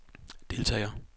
deltager